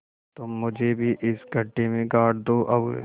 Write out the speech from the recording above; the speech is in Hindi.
तुम मुझे भी इस गड्ढे में गाड़ दो और